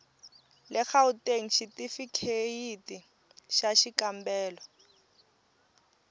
le gauteng xitifikheyiti xa xikambelo